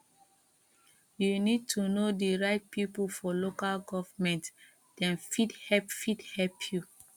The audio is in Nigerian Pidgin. you need to know di right people for local government dem fit help fit help you